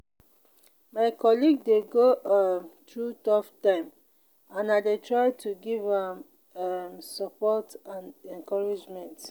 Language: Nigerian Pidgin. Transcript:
my colleague dey go um through tough time and i dey try to give am um support and encouragement.